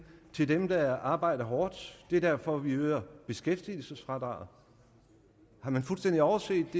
til dem der arbejder hårdt det er derfor vi øger beskæftigelsesfradraget har man fuldstændig overset